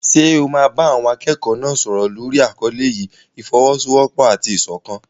Ṣé o máa bá àwọn akẹ́kọ̀ọ́ náà sọ̀rọ̀ lórí àkọlé yìí "ìfọ́wọ́sọwọ́pọ̀ àti ìṣọ̀kan"?